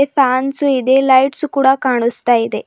Fans ಇದೆ lights ಕೂಡ ಕಾಣಿಸ್ತಾ ಇದೆ.